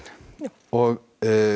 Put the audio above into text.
og